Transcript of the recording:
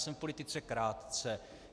Jsem v politice krátce.